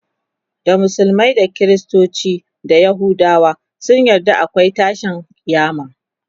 da musulmai da kristoci da yahudawa sun yarda akwai tashin kiyama